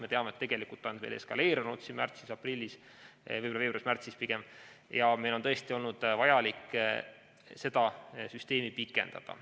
Me teame, et tegelikult see olukord eskaleerus märtsis-aprillis, võib-olla pigem veebruaris-märtsis, ja meil on tõesti olnud vaja seda süsteemi pikendada.